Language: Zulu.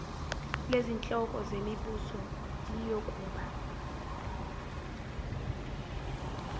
lezinhloko zemibuso liyokuba